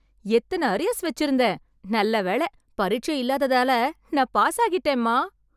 எத்தன அரியர்ஸ் வெச்சிருந்தேன்... நல்லவேளை பரிட்சை இல்லாததால நான் பாஸாகிட்டேன்மா...